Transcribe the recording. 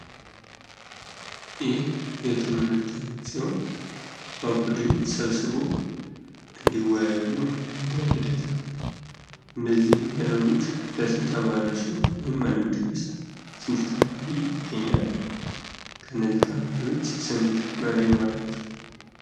ይህ የትምህርት አይነት ሲሆን፤ በቡድን ሰብስቦ እንዲወያዩ ማድረግ ሂደት ነው። እንዲህ የሚያደርጉት ለስንት ተማሪዎች ነው ወይም አንድ ቡድን ውስጥ ስንት ተማሪ ይገኛል? ከነዚህ ተማሪዎች ስንት መሪ ይኖራቸዋል?